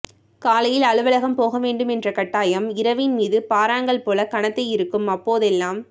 காலையில் அலுவலகம் போகவேண்டுமென்ற கட்டாயம் இரவின் மீது பாறாங்கல் போல கனத்து இருக்கும் அப்போதெல்லாம்